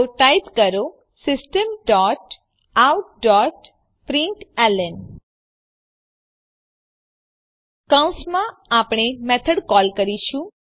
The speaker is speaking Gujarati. તો ટાઈપ કરો system dot out dot println કૌંસમાં આપણે મેથડ કોલ કરીશું